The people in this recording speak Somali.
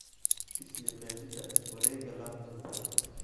i sii qeexida wareegga laptop-ka